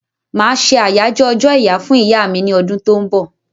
Máa ṣe àyájọ́ ọjọ́ ìyá fún ìyá mi ní ọdún tó ń bọ̀